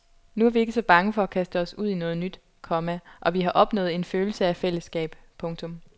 Nu er vi ikke så bange for at kaste os ud i noget nyt, komma og vi har opnået en følelse af fællesskab. punktum